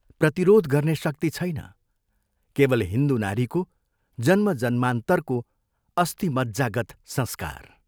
प्रतिरोध गर्ने शक्ति छैन केवल हिन्दू नारीको जन्मजन्मान्तरको अस्थिमज्जागत संस्कार।